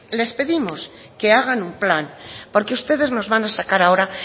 les pedimos que hagan un plan porque ustedes nos van a sacar ahora